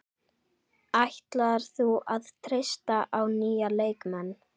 Ætlar þú að treysta á nýja leikmenn?